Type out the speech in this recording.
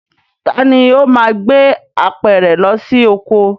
Taàní ó máa gbé apẹ̀rẹ̀ lọ sí oko?